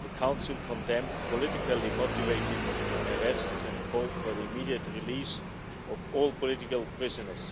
The Council condemned politically motivated arrests and called for the immediate release of all political prisoners.